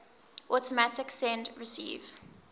automatic send receive